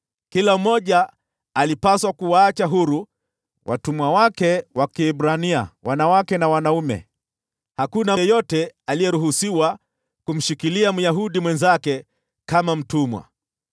Kila mmoja alipaswa kuwaacha huru watumwa wake wa Kiebrania, wanawake na wanaume. Hakuna yeyote aliyeruhusiwa kumshikilia Myahudi mwenzake kama mtumwa.